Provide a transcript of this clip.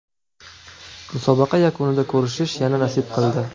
Musobaqa yakunida ko‘rishish yana nasib qildi.